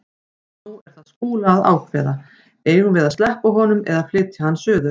Nú er það Skúla að ákveða: Eigum við að sleppa honum eða flytja hann suður?